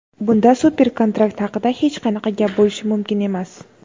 bunda super-kontrakt haqida hech qanaqa gap bo‘lishi mumkin emas.